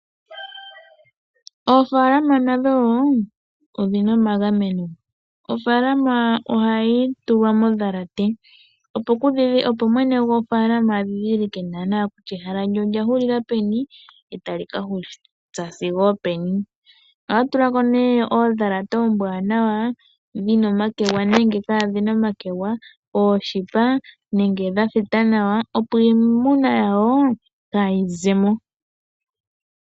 Oofalama nadho wo odhina omagameno ofalama ohayi tulwa modhalate opo mwene gwo faaalama adhilike kutya ehala lye olya huulila peni ohaa tula ko ne oodhalata dhina omakegwa nenga dha thita opo iimuna yawo kaayi zemo.